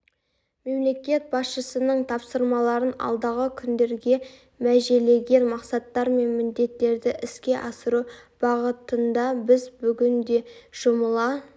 мемлекет басшысының тапсырмаларын алдағы күндерге межелеген мақсаттар мен міндеттерді іске асыру бағытында біз бүгін де жұмыла